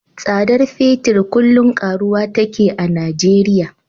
Tsadar fetir kullum karuwa take a Nijeriya.